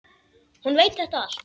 Hún veit þetta allt.